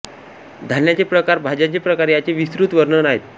धान्याचे प्रकार भाज्यांचे प्रकार याचे विस्तृत वर्णन आहे